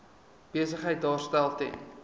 besigheid daarstel ten